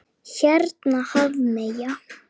Hérna Hafmey.